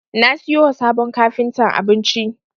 Na siyo wa sabon kafintan abinci.